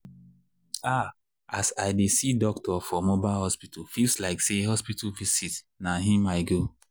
um ah as i dey see doctorfor mobile hospital feels like say hospital visit na him i go.